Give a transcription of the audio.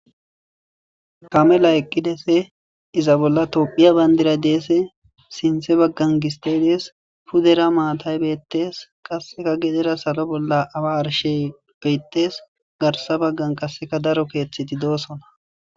Kamelay eqides izza bolla tophiya bandira des sintha bagara gistey betes guye bagara mattay dees qaseka salo bolla awa ashey betes garsan bagan qaseka daro kethati de'osona